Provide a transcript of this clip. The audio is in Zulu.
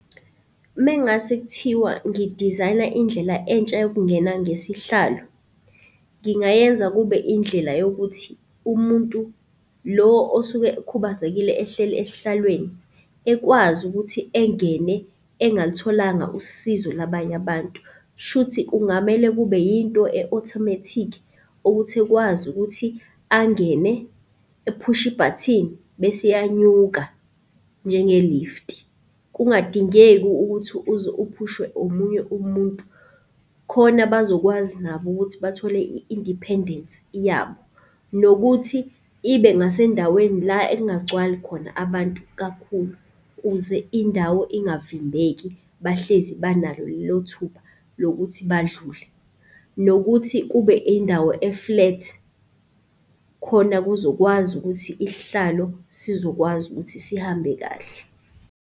Mengase kuthiwa ngidizayina indlela entsha yokungena ngesihlalo, ngingayenza kube indlela yokuthi umuntu lo osuke ekhubazekile ehleli esihlalweni ekwazi ukuthi engene engalutholanga usizo labanye abantu. Shuthi kungamele kube yinto e-automatic ukuthi ekwazi ukuthi angene ephushe ibhathini bese iyanyuka njenge-lift. Kungadingeki ukuthi uze uphushwe omunye umuntu, khona bazokwazi nabo ukuthi bathole i-independence yabo. Nokuthi ibe ngasendaweni la ekungagcwali khona abantu kakhulu kuze indawo ingavimbeki, bahlezi banalo lelo thuba lokuthi badlule. Nokuthi kube indawo eflethi, khona kuzokwazi ukuthi isihlalo sizokwazi ukuthi sihambe kahle.